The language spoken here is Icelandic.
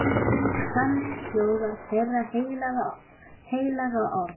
Þannig hljóðar þeirra heilaga orð.